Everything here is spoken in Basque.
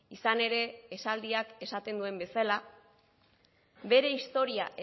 izan ere esaldiak esaten duen bezala bere historia